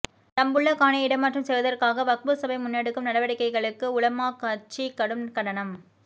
தம்புள்ள காணியை இடமாற்றம் செய்வதற்காக வக்பு சபை முன்னெடுக்கும் நடவடிக்கைகளுக்கு உலமாக் கட்சி கடும் கண்டனம்